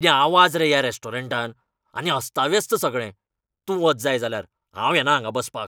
कितें आवाज रे ह्या रॅस्टॉरंटांत? आनी अस्ताव्यस्त सगळें. तूं वच जाय जाल्यार, हांव येना हांगां बसपाक.